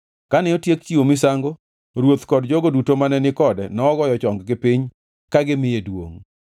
Kane otiek chiwo misango ruoth kod jogo duto mane ni kode nogoyo chonggi piny ka gimiye duongʼ.